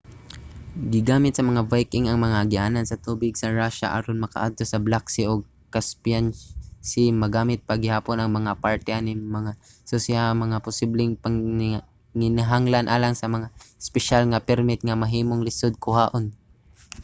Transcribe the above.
gigamit sa mga viking ang agianan sa tubig sa russia aron makaadto sa black sea ug caspian sea. magamit pa gihapon ang mga parte ani nga mga. susiha ang posibleng panginahanglan alang sa mga espesyal nga permit nga mahimong lisod kuhaon